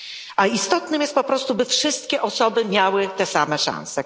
A istotne jest po prostu, by wszystkie osoby miały te same szanse.